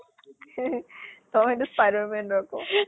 তমে টো spider man আকৌ।